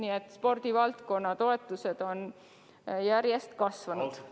Nii et spordivaldkonna toetused on järjest kasvanud.